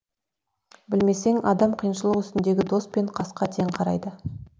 білмесең адам қиыншылық үстіндегі дос пен қасқа тең қарайды